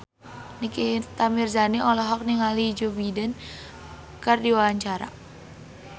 Nikita Mirzani olohok ningali Joe Biden keur diwawancara